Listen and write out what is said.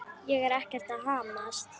Ég er ekkert að hamast.